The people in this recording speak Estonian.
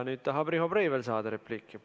Nüüd tahab Riho Breivel saada repliigi võimalust.